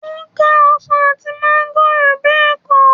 ó ká ọsàn àti máńgò bẹ́ẹ̀ kọ́?